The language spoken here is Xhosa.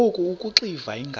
ngoku akuxiva iingalo